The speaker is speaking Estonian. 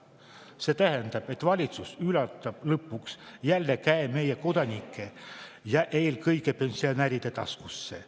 See tähendab, et valitsus lõpuks jälle käe meie kodanike, eelkõige pensionäride taskusse.